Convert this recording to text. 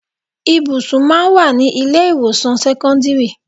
Ibùsùn máa ń wà ní ilé ìwòsàn sẹ́kọ́ńdírì.